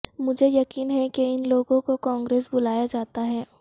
مجھے یقین ہے کہ ان لوگوں کو کانگریس بلایا جاتا ہے